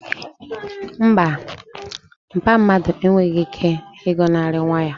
Mba, mpa mmadu enweghị ike ịgọnarị nwa ya